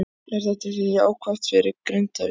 Er það ekki jákvætt fyrir Grindavík?